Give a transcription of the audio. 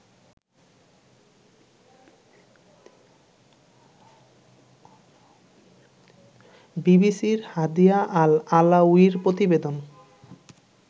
বিবিসির Hadia Al আলাউইর প্রতিবেদন